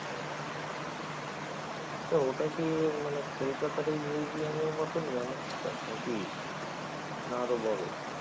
আচ্ছা ওটা কি মানে কলকাতার এই museum এর মতনই অনেকটা নাকি? না আরও বড়?